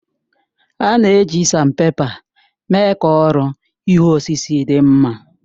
A na-eji Sanpèpa mee ka ọrụ ihu osisi dị mma